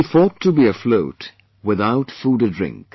He fought to be afloat without food or drink